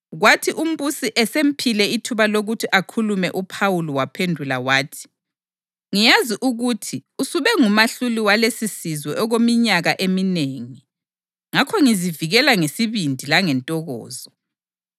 Kwathi umbusi esemphile ithuba lokuthi akhulume uPhawuli waphendula wathi: “Ngiyazi ukuthi usube ngumahluli walesisizwe okweminyaka eminengi; ngakho ngizivikela ngesibindi langentokozo.